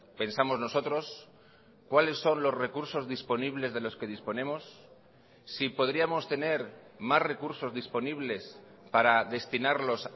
pensamos nosotros cuáles son los recursos disponibles de los que disponemos si podríamos tener más recursos disponibles para destinarlos